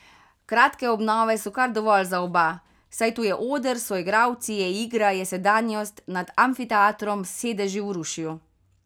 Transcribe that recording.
Kratke obnove so kar dovolj za oba, saj tu je oder, so igralci, je igra, je sedanjost nad amfiteatrom s sedeži v rušju.